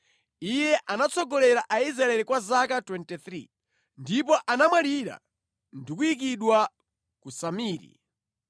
Iye anatsogolera Aisraeli kwa zaka 23, ndipo anamwalira ndi kuyikidwa ku Samiri.